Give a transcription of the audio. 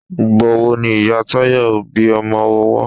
Ìgbà wo ni Ìyá Táyọ̀ bí ọmọ owọ́